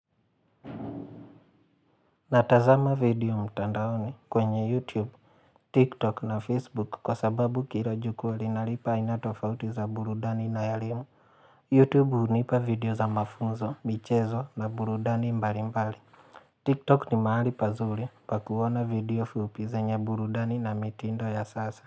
Natazama video mtandaoni kwenye youtube, tiktok na facebook kwa sababu kila jukwaa linanipa aina tofauti za burudani na elimu, Youtube hunipa video za mafunzo, michezo na burudani mbali mbali Tiktok ni mahali pazuri pa kuona video fiupizenya burudani na mitindo ya sasa.